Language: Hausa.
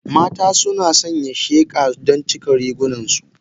Mata suna sanya sheqa don cika rigunansu.